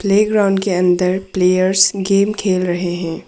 Playground के अंदर players game खेल रहे हैं।